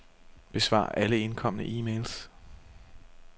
Besvar alle indkomne e-mails.